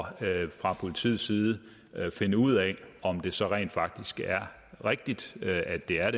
fra politiets side finde ud af om det så rent faktisk er rigtigt at det er